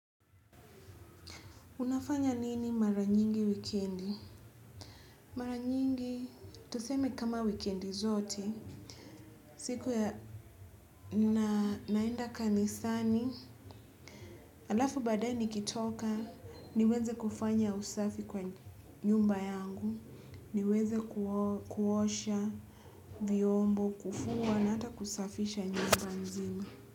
Unafanya nini mara nyingi wikendi? Mara nyingi tuseme kama wikendi zote. Siku ya naenda kanisani. Alafu baadaye nikitoka, niweze kufanya usafi kwa nyumba yangu. Niweze kuosha vyombo, kufua na hata kusafisha nyumba nzima.